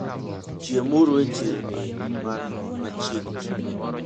Chiemuru e chirni man machiegni.